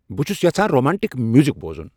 بہٕ چُھس یژھان رومانٹِک میوزک بوزُن ۔